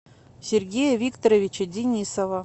сергея викторовича денисова